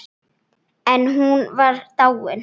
En hún var dáin.